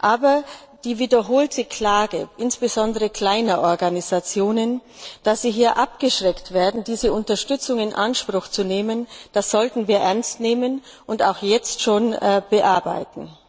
Aber die wiederholte Klage insbesondere kleiner Organisationen, dass sie abgeschreckt werden, diese Unterstützung in Anspruch zu nehmen, sollten wir ernst nehmen und auch jetzt schon bearbeiten.